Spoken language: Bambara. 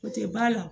O tɛ ba la